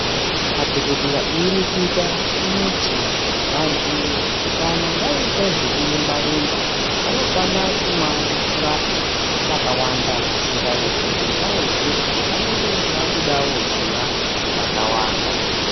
Madhokotera eireketa vanoti vanthu kana vaite zvekurumba rumba vanofanire kumwe mvura yakawanda zvisingaiti ngendaa yekuti vanenge vabudawo ziya rakawanda.